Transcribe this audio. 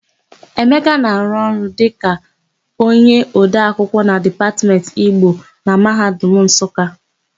Emeka na-arụ ọrụ ka onyeodeakwụkwọ na Dipatmentị Igbo na Mahadum Nsụka.